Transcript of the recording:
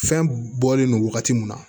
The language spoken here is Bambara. Fɛn bɔlen no wagati mun na